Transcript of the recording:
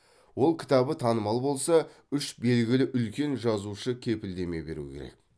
ол кітабы танымал болса үш белгілі үлкен жазушы кепілдеме беру керек